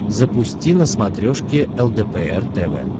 запусти на смотрешке лдпр тв